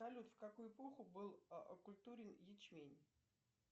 салют в какую эпоху был окультурен ячмень